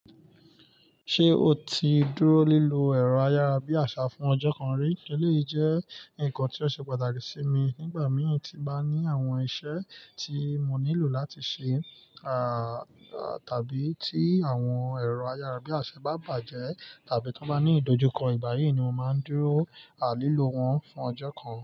Ṣé o ti dúró lílo ẹ̀rọ ayárabíàṣá fún ọjọ́ kan rí? Eléyìí jẹ́ ǹkan tí ó ṣe pàtàkì sí mi nígbà mì tí ba ní àwọn iṣẹ́ tí mo nílò láti ṣe, à, tàbí tí àwọn ẹ̀rọ ayárabíàṣá bá bàjẹ́ tàbí tí wọ́n bá ní ìdojúkọ igba yii ni mo máa ń dúró, à, lílo wọn fún ọjọ́ kan.